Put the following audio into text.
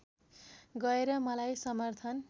गएर मलाई समर्थन